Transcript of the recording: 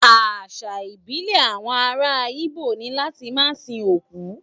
Àṣà ìbílẹ̀ àwọn ará Igbo ni láti máa sin òkú